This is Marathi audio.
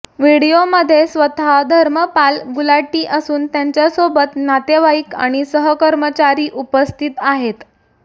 व्हिडीओमध्ये स्वतः धर्मपाल गुलाटी असून त्यांच्यासोबत नातेवाईक आणि सहकर्मचारी उपस्थित आहेत